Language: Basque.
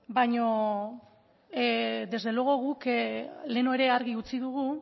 baino desde luego guk lehenago ere argi utzi dugu